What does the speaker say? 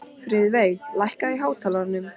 Friðveig, lækkaðu í hátalaranum.